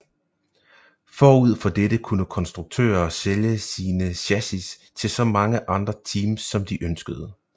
Forud for dette kunne konstruktører sælge sine chassis til så mange andre teams som de ønskede